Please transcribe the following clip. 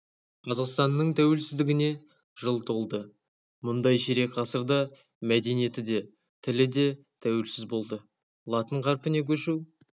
қазақстанның тәуелсіздігіне жыл толды бұндай ширек ғасырда мәдениеті де тілі де тәуелсіз болды латын қарпіне көшу